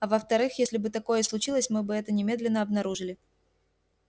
а во вторых если бы такое и случилось мы бы это немедленно обнаружили